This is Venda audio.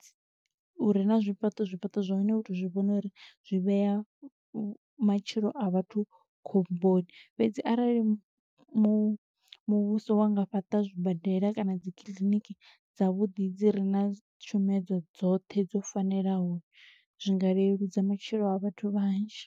dzi, hu re na zwifhaṱo, zwifhaṱo zwa hone u to zwi vhona uri zwi vhea matshilo a vhathu khomboni. Fhedzi arali mu mu muvhuso wa nga fhaṱa zwibadela kana dzi kiliniki dza vhuḓi dzi re na tshumedzo dzoṱhe dzo fanelaho, zwinga leludza matshilo a vhathu vhanzhi.